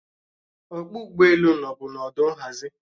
Ọkpọ ụgbọelu nọbu n'ọdụ nhazi